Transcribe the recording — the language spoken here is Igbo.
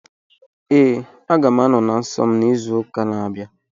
Ee, aga m anọ na nsọ m n'izu na-abịa.